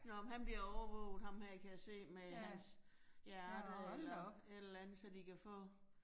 Nåh men han bliver overvåget ham her kan jeg se med hans hjerte og et eller andet, så de kan få